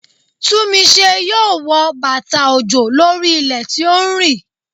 Túnmise yóò wọ bàtà òjò lórí ilẹ̀ tí ó ń rì.